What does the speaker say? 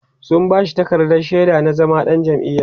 sun bashi takardar shaida na zama ɗan jam'iya